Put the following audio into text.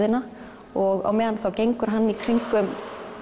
og á meðan þá gengur hann í kringum